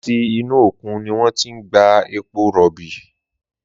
Làtí inú ókún niwòn ti n gbá épó ròbí